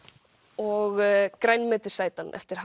og grænmetisætan eftir